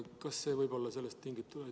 Kas see võib olla sellest tingitud?